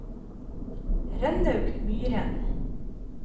Rønnaug Myhren